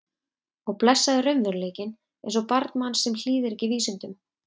Og blessaður raunveruleikinn eins og barn manns sem hlýðir ekki vísindum.